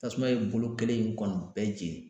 Tasuma ye bolo kelen in kɔni bɛɛ jeni.